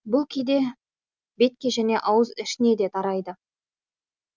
бүл кейде бетке және ауыз ішінде де тарайды